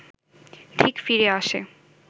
ঠিক ফিরে আসে